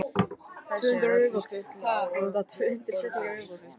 Þessu er öllu skutlað á borðið í flýti.